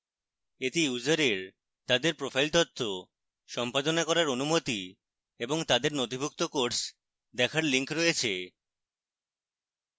এতে ইউসারের তাদের profile তথ্য সম্পাদনা করার অনুমতি এবং তাদের নথিভুক্ত courses দেখার links রয়েছে